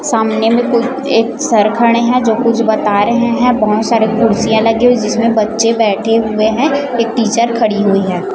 सामने में कोई एक सर खड़े हैं जो कुछ बता रहे हैं बहोत सारे कुर्सियां लगी हुई जिसमें बच्चे बैठे हुए हैं एक टीचर खड़ी हुई हैं।